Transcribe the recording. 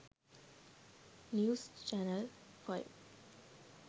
news channel 5